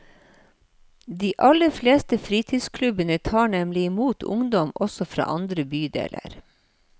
De aller fleste fritidsklubbene tar nemlig imot ungdom også fra andre bydeler.